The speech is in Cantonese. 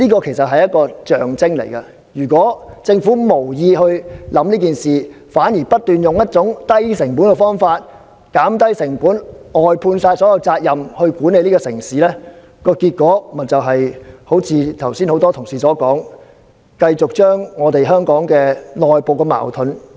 這是一種象徵意義，如果政府無意考慮這方面，反而不斷用一種以低成本為目標的方法來減低成本、外判所有責任來管理這個城市，結果就會像剛才很多同事所說，不斷激化香港的內部矛盾。